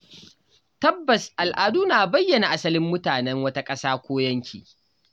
Tabbas Al’adu na bayyana asalin mutanen wata ƙasa ko yanki.